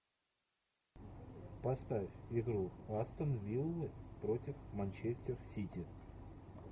поставь игру астон виллы против манчестер сити